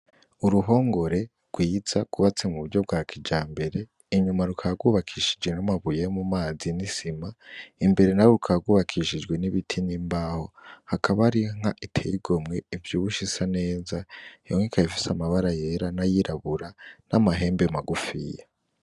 Uruhongore rwiza rwubatswe mu buryo bwa kijambere , inyuma rukaba rwubakishije n’amabuye yo mu mazi ni Sima , imbere n’aho rukaba rwubakishijwe n’ibiti n’imbaho . Hakaba hariyo inka iteye igomwe ivyibushe isa neza, iyo nka ikaba ifise amabara yera n’ayirabura n’amahembe magufiya.